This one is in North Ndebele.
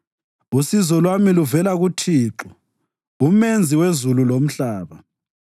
Usizo lwami luvela kuThixo, uMenzi wezulu lomhlaba.